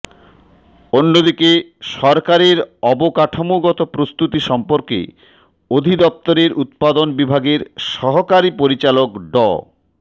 অন্যদিকে সরকারের অবকাঠামোগত প্রস্তুতি সম্পর্কে অধিদপ্তরের উৎপাদন বিভাগের সহকারি পরিচালক ড